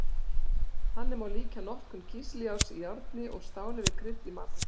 Þannig má líkja notkun kísiljárns í járni og stáli við krydd í matargerð.